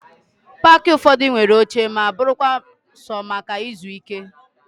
Paakị ụfọdụ nwere oche ma bụrụkwa sọ maka ịzụ ike